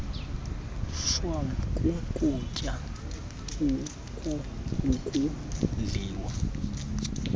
shwam kukutya okudliwa